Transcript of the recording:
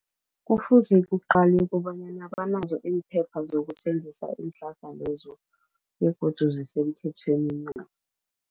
Kufuze kuqalwe kobanyana banazo imphepha zokuthengisa iinhlahla lezo begodu zisemthethweni na.